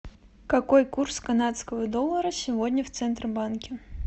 какой курс канадского доллара сегодня в центробанке